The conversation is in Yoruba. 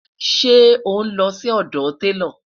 ṣé onlo Si odò talo?